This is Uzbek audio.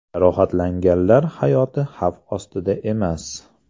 Jarohatlanganlar hayoti xavf ostida emas.